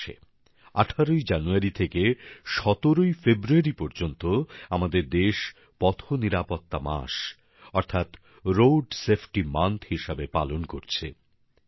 এই মাসে ১৮ ই জানুয়ারি থেকে ১৭ ই ফেব্রুয়ারি পর্যন্ত আমাদের দেশ পথ নিরাপত্তা মাস অর্থাৎ রোড সেফটি মান্থ হিসেবে পালন করছে